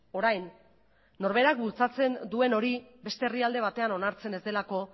orain norberak bultzatzen duen hori beste herrialde batean onartzen ez delako